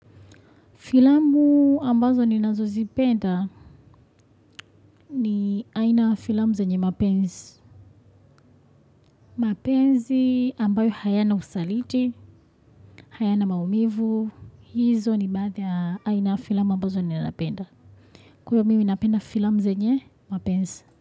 Filamu ambazo ninazozipenda ni aina ya filamu zenye mapenzi. Mapenzi ambayo hayana usaliti, hayana maumivu. Hizo ni baadhi ya aina ya filamu ambazo ninapenda. Kwa hivyo mimi ninapenda filamu zenye mapenzi.